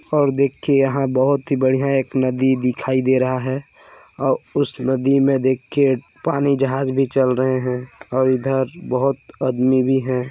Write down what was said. और देखिये यहाँ बहोत ही बढ़िया एक नदी दिखाई दे रहा है और उस नदी में देखिये पानी जहाज भी चल रहे है और इधर बहुत आदमी भी है।